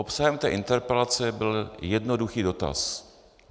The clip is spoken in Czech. Obsahem té interpelace byl jednoduchý dotaz.